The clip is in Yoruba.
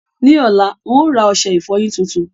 Ní ọ̀la, n óò ra ọṣẹ ìfọyín tuntun.